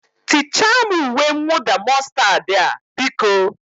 Tichaa m uwe mwụda mọstad a, biko?